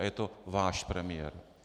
A je to váš premiér.